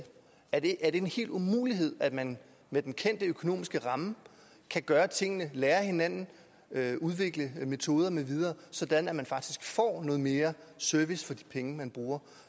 er det en hel umulighed at man med den kendte økonomiske ramme kan gøre tingene lære af hinanden udvikle metoder med videre sådan at man faktisk får noget mere service for de penge man bruger